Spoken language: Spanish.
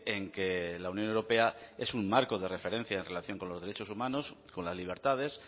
en que la unión europea es un marco de referencia en relación con los derechos humanos con las libertades